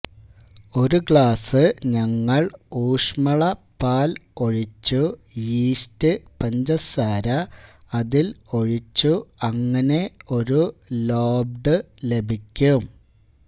ഒരു ഗ്ലാസ് ഞങ്ങൾ ഊഷ്മള പാൽ ഒഴിച്ചു യീസ്റ്റ് പഞ്ചസാര അതിൽ ഒഴിച്ചു അങ്ങനെ ഒരു ലോബ്ഡ് ലഭിക്കും